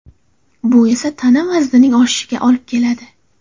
Bu esa tana vaznining oshishiga olib keladi.